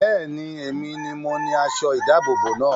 Bẹ́ẹ̀ni, èmi ni mo ni aṣọ ìdábòbò náà